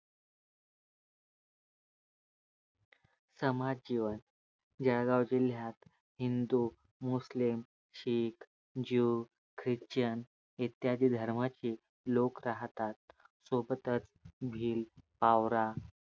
समाज जीवन जळगाव जिल्यात Hindu, Muslim, Sikh, Jew, Christian इत्यादी धर्माचे लोक राहतात सोबतच च भिल पावरा